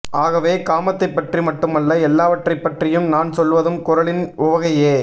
ஆகவே காமத்தைப்பற்றி மட்டுமல்ல எல்லாவற்றைப் பற்றியும் நான் சொல்வதும் குறளின் உவகையே